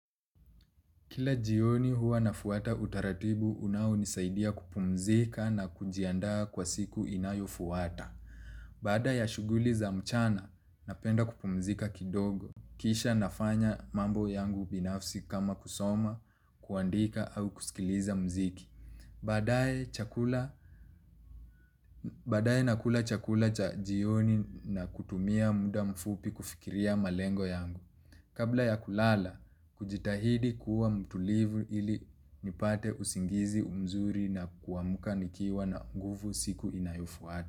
Kila jioni huwa na fuata utaratibu unao nisaidia kupumzika na kujiandaa kwa siku inayo fuata. Baada ya shughuli za mchana, napenda kupumzika kidogo. Kisha nafanya mambo yangu binafsi kama kusoma, kuandika au kusikiliza mziki. Badae nakula chakula cha jioni na kutumia muda mfupi kufikiria malengo yangu. Kabla ya kulala hujitahidi kuwa mtulivu ili nipate usingizi mzuri na kuamka nikiwa na nguvu siku inayo fuata.